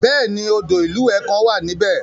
Bẹ́ẹ̀ni, odò ìlúwẹ̀ẹ́ kan wà níbẹ̀.